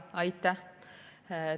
Aitäh!